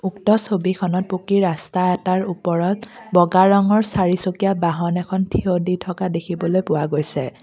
উক্ত ছবিখনত পকী ৰাস্তা এটাৰ ওপৰত বগা ৰঙৰ চাৰিচকীয়া বাহন এখন থিয় দি থকা দেখিবলৈ পোৱা গৈছে।